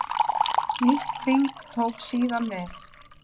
Nýtt þing tók síðan við.